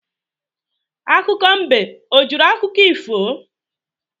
Akụkọ mbe o jụrụ akụkọ ifo?